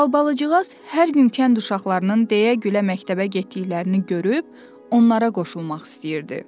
Albalıcığaz hər gün kənd uşaqlarının deyə-gülə məktəbə getdiklərini görüb onlara qoşulmaq istəyirdi.